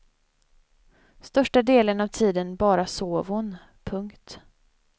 Största delen av tiden bara sov hon. punkt